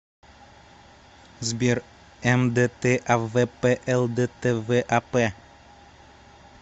сбер мдтавплдтвап